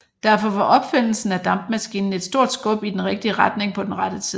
Derfor var opfindelsen af dampmaskinen et stort skub i den rigtige retning på den rette tid